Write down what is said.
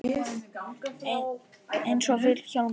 Einsog Vil- hjálmur.